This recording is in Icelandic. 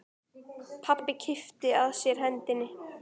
Pabbi kippti að sér hendinni.